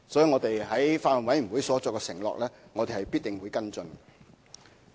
我們在法案委員會上作出的承諾，我們必定會跟進。